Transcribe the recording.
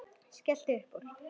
Skellti upp úr.